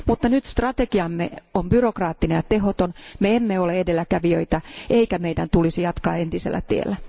Nyt strategiamme on byrokraattinen ja tehoton, me emme ole edelläkävijöitä eikä meidän tulisi jatkaa entisellä tiellä.